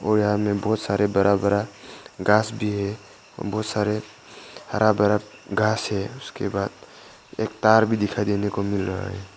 और यहां में बहुत सारे बरा बरा घास भी है और बहुत सारे हरा भरा घास है उसके बाद एक तार भी दिखाई देने को मिल रहा है।